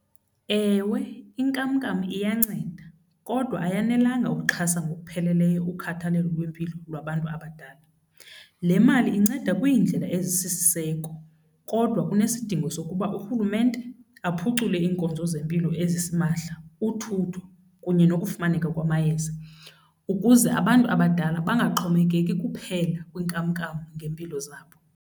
Ewe, inkamnkam iyanceda kodwa ayanelanga ukuxhasa ngokupheleleyo ukhathalelo lwempilo lwabantu abadala. Le mali inceda kwiindlela ezisisiseko kodwa kunesidingo sokuba urhulumente aphucule iinkonzo zempilo ezisimahla, uthutho kunye nokufumaneka kwamayeza ukuze abantu abadala bangaxhomekeki kuphela kwinkamnkam ngeempilo zabo.